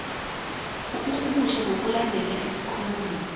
ukurhumutjha ngokulandela isikhulumi